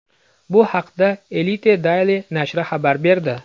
Bu haqda Elite daily nashri xabar berdi .